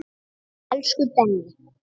Elsku Denni.